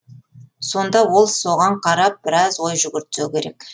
сонда ол соған қарап біраз ой жүгіртсе керек